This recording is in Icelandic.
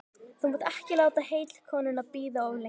Þú mátt ekki láta heitkonuna bíða of lengi.